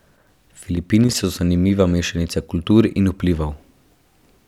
Filipini so zanimiva mešanica kultur in vplivov.